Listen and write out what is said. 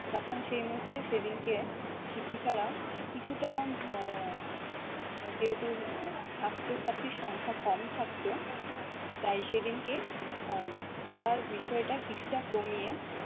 তখন সেই মুহূর্তে সেদিনকে শিক্ষিকারা কিছুটা আহ যেহেতু আহ ছাত্র ছাত্রীর সংখ্যা কম থাকতো তাই সেদিনকে আহ পড়ার বিষয়টা কিছুটা কমিয়ে-